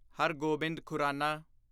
Har Gobind Khurana